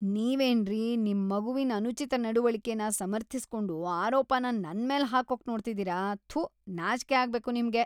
ನೀವೇನ್ರೀ ನಿಮ್ ಮಗುವಿನ್ ಅನುಚಿತ ನಡವಳಿಕೆನ ಸಮರ್ಥಿಸ್ಕೊಂಡು ಆರೋಪನ ನನ್ಮೇಲ್ ಹಾಕೋಕ್ ನೋಡ್ತಿದೀರ, ಥು.. ನಾಚ್ಕೆ ಅಗ್ಬೇಕು ನಿಮ್ಗೆ.